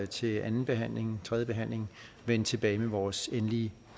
til andenbehandlingen tredjebehandlingen vende tilbage med vores endelige